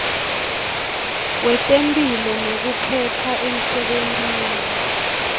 wetemphilo nekuphepha emsebentini